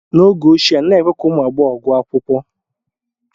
n’oge ochie, anaghị èkwé ka ụmụ agbọghọ gụọ akwụkwọ